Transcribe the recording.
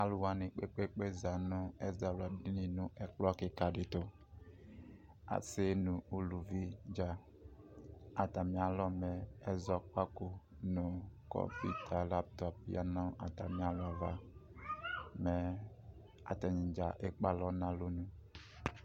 alʋwa kpekpekpee za nʋ ɛzawladini nu ɛkplɔ kikaditʋ asii nʋ uluvidza atamialɔmɛ ɛzɔkpako nʋ NA zanʋ atamialɔ mɛ atanidza ekpe alɔ nu alɔnʋ